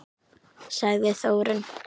Sagði Þórunn!